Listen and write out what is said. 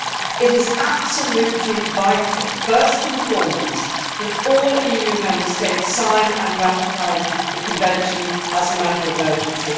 It is absolutely vital, first and foremost, that all EU Member States sign and ratify the convention as a matter of urgency.